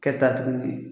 Kɛ ta tuguni